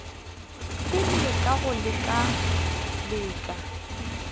pele ka go lekala la